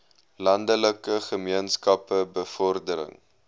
landelike gemeenskappe bevordering